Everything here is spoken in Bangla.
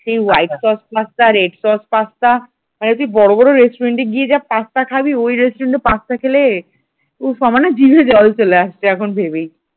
সেই white sauce pasta red sauce pasta মানে তুই বড় বড় রেস্টুরেন্টে গিয়ে যা পাস্তা খাবি ওই restaurant এ পাস্তা খেলে উফ আমার না জিভে জল চলে আসছে এখন ভেবেই।